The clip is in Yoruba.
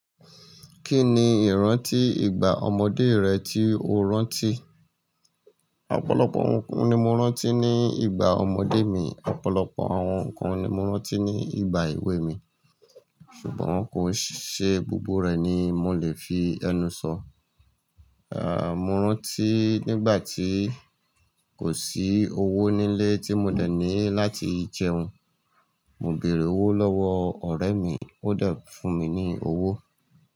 Kí ni ìrántí ìgbà ọmọdé rẹ tí o rántí? Ọ̀pọ̀lọpọ̀ nǹkan ni mo rántí ní ìgbà ọmọdé mi. Ọ̀pọ̀lọpọ̀ àwọn nǹkan ni mo rántí ní ìgbà èwe mi, ṣùgbọ́n kò ṣe gbogbo rẹ̀ ni mo lè fi ẹnu sọ. À, mo rántí nígbà tí kò sí owó nílé tí mo dẹ̀ ní láti jẹun. Mo bèèrè owó lọ́wọ́ ọ̀rẹ́ mi, ó de fún mi ní owó.